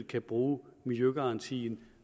kan bruge miljøgarantien